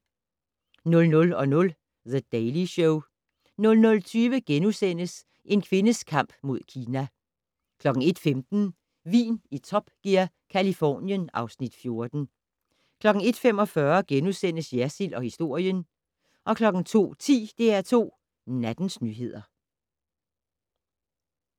00:00: The Daily Show 00:20: En kvindes kamp mod Kina * 01:15: Vin i Top Gear - Californien (Afs. 14) 01:45: Jersild & historien * 02:10: DR2 Nattens nyheder